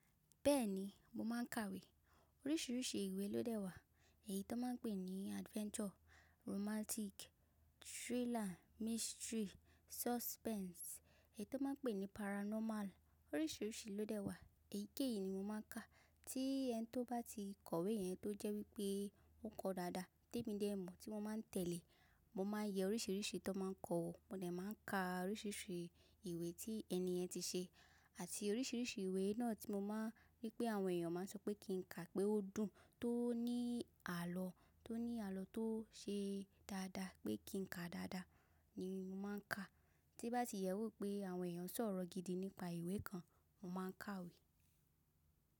Bẹ́ẹ̀ni, mo máà ń kawé. Oríṣiríṣi ìwé ló dẹ̀ wà èyí tó máa ń pe ní adventure, romantic, thriller, mystery, suspense, èyí tó máa ń pe ní paranormal oríṣiríṣi ló dẹ̀ wà èyíkéyìí ni mo máa ń ka. Tí ẹni tó bá ti kọ̀wé yẹn tó jẹ́ wípé ó kọo dáadáa tèmi dẹ̀ mọ̀ tí mo máa ń tẹ̀lé, mo máa ń ye oríṣiríṣi tó n máa ń kọ wo, mo dè máa ń ka oríṣiríṣi ìwé tí ẹni yen ti ṣe àti oríṣiríṣi ìwé náà tí mo máa n wipé àwọn èèyàn máa ń sọ pé kí n kà á pé ó dùn, tó ní àlọ́, tó ní àlọ́ tó ṣe dáadáa pé kí n kà á dáadáa ni mo máa ń ka. Tí n bá ti yẹe wò pé àwọn èèyàn ṣọ̀rọ̀ gidi nípa ìwé kan mo máa ń kawe.